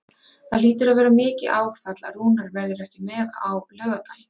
Það hlýtur að vera mikið áfall að Rúnar verður ekki með á laugardaginn?